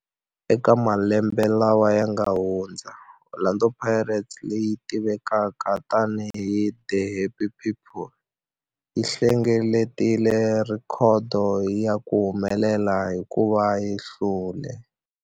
Eka malembe lawa yanga hundza, Orlando Pirates, leyi tivekaka tani hi 'The Happy People', yi hlengeletile rhekhodo ya ku humelela hikuva yi hlule